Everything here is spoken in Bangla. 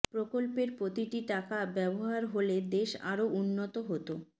প্রকল্পের প্রতিটি টাকা ব্যবহার হলে দেশ আরো উন্নত হতো